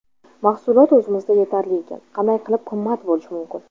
Mahsulot o‘zimizda yetarli ekan, qanday qilib qimmat bo‘lishi mumkin?